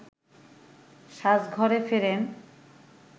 সাজঘরে ফেরেন